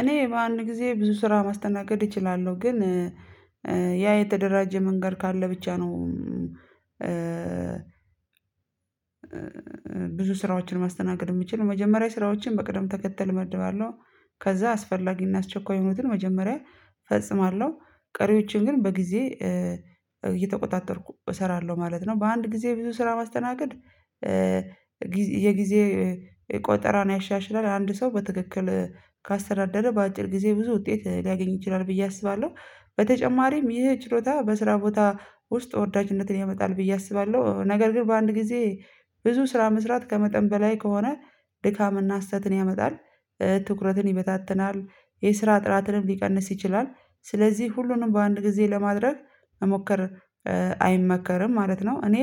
እኔ በአንድ ጊዜ ብዙ ስራ ማስተናገድ እችላለሁ ግን ያ የተደራጀ መንገድ ካለ ብቻ ነው። ብዙ ስራዎችን ማስተናገድ የሚችል መጀመሪያ ስራዎችን በቅደም ተከተል እመድባለሁ ከዛ አስፈላጊና አስቸኳይ የሆኑትን መጀመሪያ ፈጽማለሁ ቀሪዎችን ግን በጊዜ እየተቆጣጠርኩ እሰራለሁ ማለት ነው። በአንድ ጊዜ ብዙ ስራ ማስተናገድ። የጊዜ ቆጠራን ቆጠራ ነው ያሻሽላል አንድ ሰው በትክክል ካስተዳደረ በአጭር ጊዜ ብዙ ውጤት ሊያገኝ ይችላል ብዬ አስባለሁ። በተጨማሪም ይህ ችሎታ በስራ ቦታ ውስጥ ወዳጅነትን ያመጣል ብዬ አስባለሁ። ነገር ግን በአንድ ጊዜ ብዙ ስራ መስራት ከመጠን በላይ ከሆነ ድካምና ስህተትን ያመጣል። ትኩረትን ይበታትናል የስራ ጥራትንም ሊቀንስ ይችላል። ስለዚህ ሁሉንም በአንድ ጊዜ ለማድረግ መሞከር አይመከርም ማለት ነው። እኔ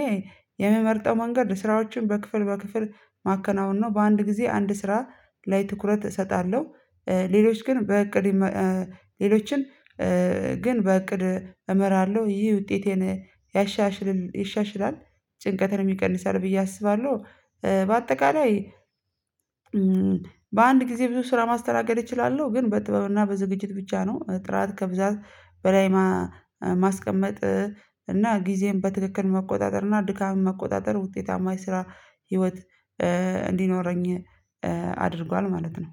የምመርጠው መንገድ ስራዎችን በክፍል በክፍል ማከናወን ነው። በአንድ ጊዜ አንድ ስራ ላይ ትኩረት እሰጣለሁ። ሌሎች ግን በእቅድ ሌሎችን በእቅድ እመራለሁ ይህ ውጤቴን ያሻሽላ ይሻሽላል ጭንቀትን ይቀንሳል ብዬ አስባለሁ። በአጠቃላይ በአንድ ጊዜ ብዙ ስራ ማስተናገድ እችላለሁ ግን በጥበብና በዝግጅት ብቻ ነው። ጥራት ከብዛት በላይ ማስቀመጥ እና ጊዜን በትክክል መቆጣጠር እና ድካም መቆጣጠር ውጤታማ የስራ ህይወት እንዲኖረኝ አድርጓል። ማለት ነው።